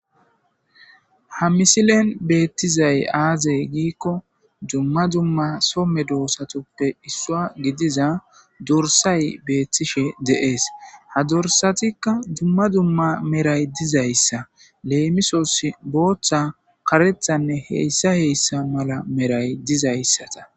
ha misilen beettizay aazey giikko dumma dumma somme doosatoppe issua gidiza dorsay beettishe deees ha dorsatikka dumma dumma meray dizayssa leemisos booththa karethanne heyssa heyssa mala meray dizayssata